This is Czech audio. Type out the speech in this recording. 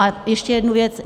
A ještě jednu věc.